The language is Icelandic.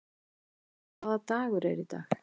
Árlaug, hvaða dagur er í dag?